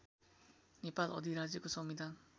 नेपाल अधिराज्यको संविधान